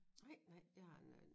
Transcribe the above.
Nej nej je har en anden